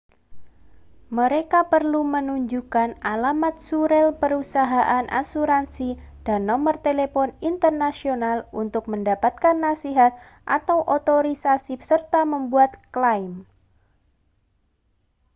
mereka perlu menunjukkan alamat surel perusahaan asuransi dan nomor telepon internasional untuk mendapatkan nasihat/otorisasi serta membuat klaim